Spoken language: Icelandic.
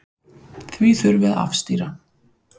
Því þurfi að afstýra.